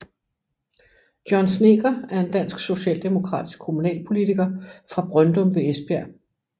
John Snedker er en dansk socialdemokratisk kommunalpolitiker fra Bryndum ved Esbjerg